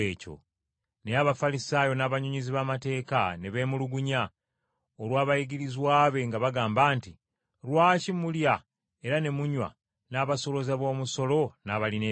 Naye Abafalisaayo n’abannyonnyozi b’amateeka ne beemulugunya, olw’abayigirizwa be nga bagamba nti, “Lwaki mulya era ne munywa n’abasolooza b’omusolo n’abalina ebibi?”